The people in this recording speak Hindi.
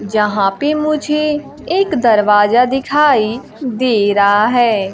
यहां पे मुझे एक दरवाजा दिखाई दे रहा है।